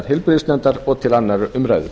heilbrigðisnefndar og til annarrar umræðu